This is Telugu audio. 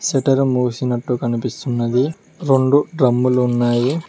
షట్టర్ మూసినట్టు కనిపిస్తున్నది రెండు డ్రమ్ములు ఉన్నాయి.